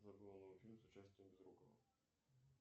фильм с участием безрукова